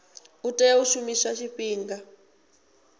a tea u shumiswa tshifhinga